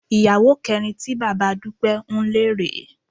Ìyàwó kẹrin tí bàbá Dúpẹ́ ń lé rè é